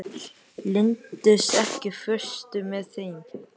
Linddís, ekki fórstu með þeim?